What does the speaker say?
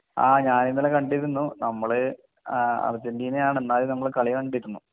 ആഹ് ഞാൻ ഇന്നലെ കണ്ടിരുന്നു നമ്മൾ ആഹ് അർജറ്റിന ആണ് എന്നാലും നമ്മൾ കളി കണ്ടിരുന്നു